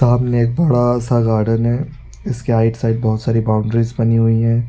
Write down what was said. सामने एक बड़ा सा गार्डन है इसकी आइड साइड बहोत सारी बाउंड्रीज बनी हुई है।